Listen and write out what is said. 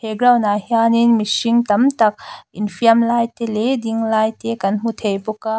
he ground ah hian in mihring tam tak infiam lai te leh ding lai te kan hmu thei bawk a.